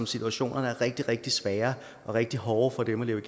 situationen er rigtig rigtig svær og rigtig hård for dem at leve